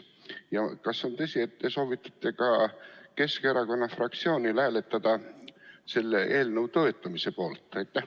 Ja kas on tõsi, et te soovitate ka Keskerakonna fraktsioonil hääletada selle eelnõu toetamise poolt?